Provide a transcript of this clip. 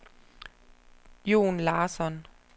Jon Larsson